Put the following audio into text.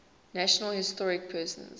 national historic persons